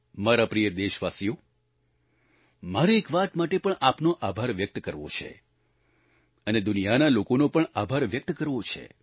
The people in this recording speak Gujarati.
મારા પ્રિય દેશવાસીઓ મારે એક વાત માટે પણ આપનો આભાર વ્યક્ત કરવો છે અને દુનિયાના લોકોનો પણ આભાર વ્યક્ત કરવો છે